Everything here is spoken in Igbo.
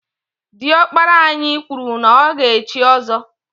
Diọkpara anyị kwụrụ na ọ ga echi ọzọ.